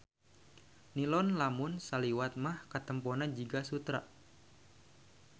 Nilon lamun saliwat mah katempona jiga sutra.